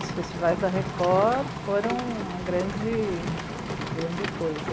Os festivais da Record foram uma grande, uma grande coisa.